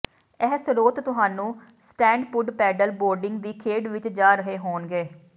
ਇਹ ਸ੍ਰੋਤ ਤੁਹਾਨੂੰ ਸਟੈਂਡਪੁੱਡ ਪੈਡਲ ਬੋਰਡਿੰਗ ਦੀ ਖੇਡ ਵਿੱਚ ਜਾ ਰਹੇ ਹੋਣਗੇ